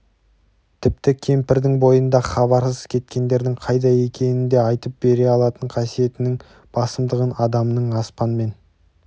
тіпті кемпірдің бойында хабарсыз кеткендердің қайда екенін де айтып бере алатын қасиетінің басымдығын адамның аспанмен